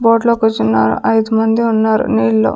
boat లో కూర్చున్నారు ఐదు మంది ఉన్నారు నీళ్లో --